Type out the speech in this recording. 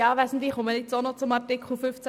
Ich äussere mich ebenfalls zu Artikel 15.